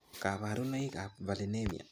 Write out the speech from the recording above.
Kaparunoik ap valinemia